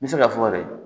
N bɛ se k'a fɔ de